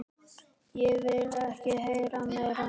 Ég vildi ekki heyra meira.